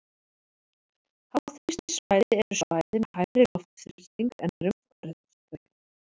Háþrýstisvæði eru svæði með hærri loftþrýsting en er umhverfis þau.